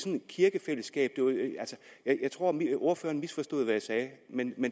kirkefællesskab jeg tror ordføreren misforstod hvad jeg sagde men